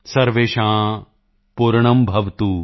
ਸਰਵੇਸ਼ਾਂ ਪੁਰਣਭਵਤੁ